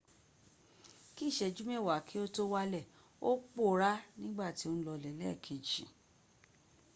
bí ìṣẹ́jú mewa kí o tó wàlẹ̀ ò pòorá ní gbà tí o n lọlẹ̀ lẹ́ẹ̀kej